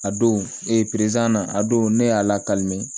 A don na a don ne y'a lakali mɛ